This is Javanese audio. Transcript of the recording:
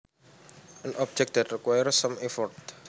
An object that requires some effort